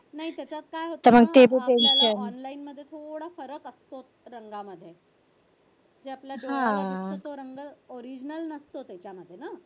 नाही त्याच्यात काय होतो आपल्याला online मध्ये थोडा फरक असतो तो म्हणजे आपल्या डोळ्याला दिसतो तो रंग original नसतो हा त्याच्यामध्ये ना